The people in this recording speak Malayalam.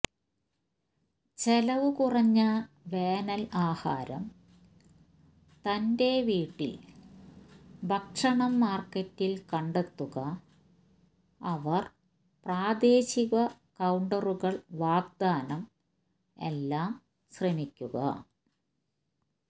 ചെലവുകുറഞ്ഞ വേനൽ ആഹാരം തന്റെ വീട്ടിൽ ഭക്ഷണം മാർക്കറ്റിൽ കണ്ടെത്തുക അവർ പ്രാദേശിക കൌണ്ടറുകൾ വാഗ്ദാനം എല്ലാം ശ്രമിക്കുക